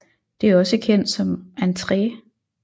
Det er også kendt som Entree